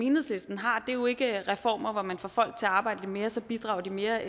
enhedslisten har er jo ikke reformer hvor man får folk til at arbejde lidt mere og så bidrager de mere